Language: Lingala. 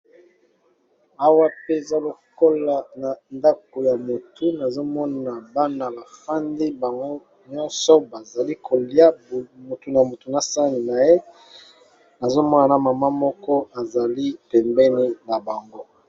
Awa pe eza lokola na ndako ya motu nazomona bana bafandi bango nyonso bazali kolia motu na motu na sani na ye nazomona na mama moko azali pembeni na bango.